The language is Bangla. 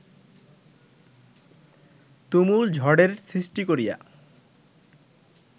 তুমুল ঝড়ের সৃষ্টি করিয়া